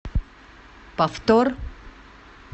повтор